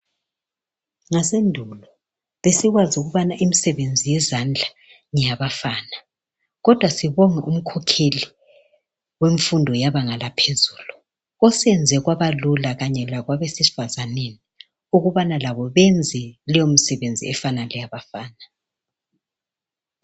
Ngasendulo besikwazi ukubana imsebenzi yezandla ngeyabafana kodwa sibonga umkhokheli wemfundo yebanga laphezulu oseyenze kwaba lula kanye lakwabesifazaneni ukubana labo benze leyo misebenzi efana leyabafana.